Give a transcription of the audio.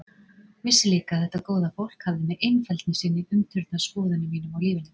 Vissi líka að þetta góða fólk hafði með einfeldni sinni umturnað skoðunum mínum á lífinu.